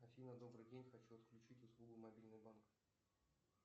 афина добрый день хочу отключить услугу мобильный банк